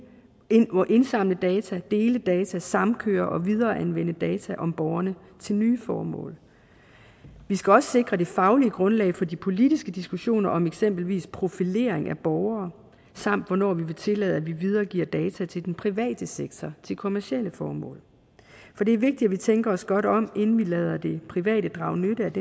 må indsamle data dele data samkøre og videreanvende data om borgerne til nye formål vi skal også sikre det faglige grundlag for de politiske diskussioner om eksempelvis profilering af borgere samt hvornår vi vil tillade at vi videregiver data til den private sektor til kommercielle formål for det er vigtigt at vi tænker os godt om inden vi lader det private drage nytte af